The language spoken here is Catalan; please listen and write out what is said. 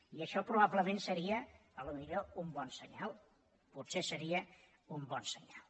i això probablement potser seria un bon senyal potser seria un bon senyal